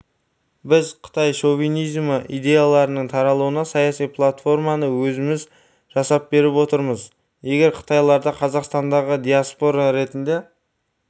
біз қытай шовинизмі идеяларының таралуына саяси платформаны өзіміз жасап беріп отырмыз егер қытайларды қазақстандағы диаспора ретінде